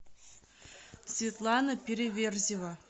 светлана переверзева